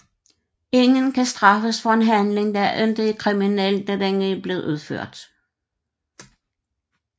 Ingen kan straffes for en handling der ikke var kriminel da den blev udført